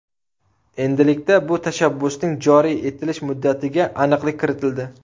Endilikda bu tashabbusning joriy etilish muddatiga aniqlik kiritildi.